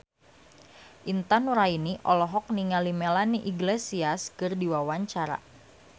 Intan Nuraini olohok ningali Melanie Iglesias keur diwawancara